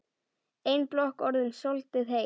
Ein blokk orðin soldið heit.